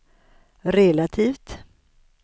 relativt